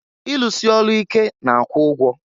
Ilusi ọlụ ike na-akwụ ụgwọ.